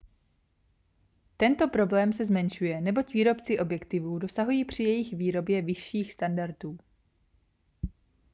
tento problém se zmenšuje neboť výrobci objektivů dosahují při jejich výrobě vyšších standardů